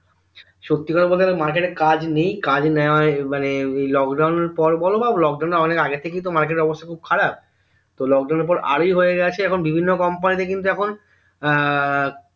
সত্যি করে বলতে গেলে market এ কাজ নেই কাজ নেওয়া উম মানে এই lockdown এর পর বোলো বা lockdown এর অনেক আগে থেকেই market এর অবস্থা খুব খারাব তো lockdown এর পর আরোই হয়ে গেছে বিভিন্ন company তে কিন্তু এখন এর